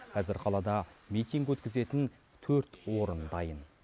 қазір қалада митинг өткізетін төрт орын дайын